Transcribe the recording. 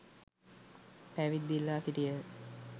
පැවිද්ද ඉල්ලා සිටියහ.